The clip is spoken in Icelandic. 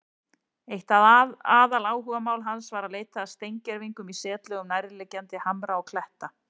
Eitt aðaláhugamál hans var að leita að steingervingum í setlögum nærliggjandi hamra og kletta.